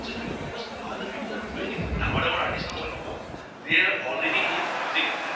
its a because other people are doing it, ডাঙৰ ডাঙৰ artist ন মই ন্কওঁ they are already in using it